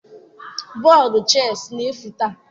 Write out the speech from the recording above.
Bọdụ chess na-efu taa.